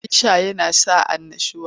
Abin sha yana sa annushuwa.